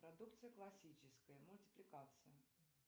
продукция классическая мультипликация